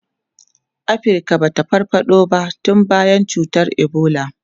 Afirka ba ta farfado ba tun bayan cutar Ebola.